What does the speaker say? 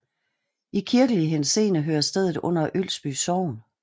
I kirkelig henseende hører stedet under Ølsby Sogn